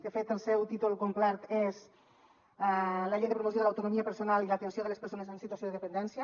de fet el seu títol complet és la llei de promoció de l’autonomia personal i l’atenció de les persones en situació de dependència